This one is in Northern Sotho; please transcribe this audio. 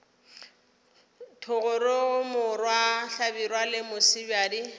thogorogo morwa hlabirwa le mosebjadi